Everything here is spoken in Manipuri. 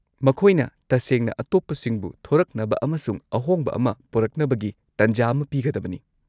-ꯃꯈꯣꯏꯅ ꯇꯁꯦꯡꯅ ꯑꯇꯣꯞꯄꯁꯤꯡꯕꯨ ꯊꯣꯔꯛꯅꯕ ꯑꯃꯁꯨꯡ ꯑꯍꯣꯡꯕ ꯑꯃ ꯄꯨꯔꯛꯅꯕꯒꯤ ꯇꯟꯖꯥ ꯑꯃ ꯄꯤꯒꯗꯕꯅꯤ ꯫